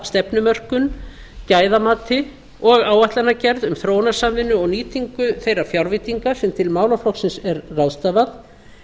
stefnumörkun gæðamati og áætlanagerð um þróunarsamvinnu og nýtingu þeirra fjárveitinga sem til málaflokksins er ráðstafað